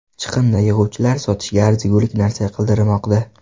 Chiqindi yig‘uvchilar sotishga arzigulik narsa qidirmoqda.